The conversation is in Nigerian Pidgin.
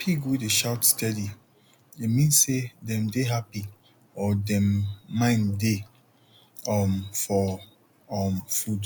pig wey dey shout steady e mean say dem dey happy or dem mind dey um for um food